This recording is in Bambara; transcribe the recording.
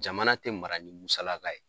Jamana tɛ mara ni musalaka ye.